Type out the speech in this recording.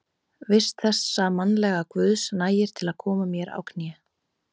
vist þessa mannlega guðs, nægir til að koma mér á kné.